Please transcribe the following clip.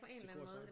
Til korsang